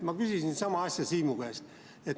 Ma küsisin sama asja Siimu käest.